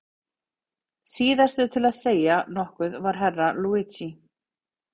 Síðastur til að segja nokkuð var Herra Luigi.